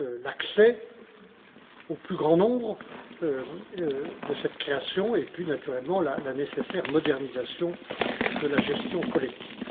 l'accès du plus grand nombre à cette création, et puis naturellement la nécessaire modernisation de la gestion collective?